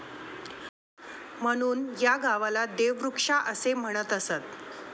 म्हणून या गावाला देवृक्षा असे म्हणत असत.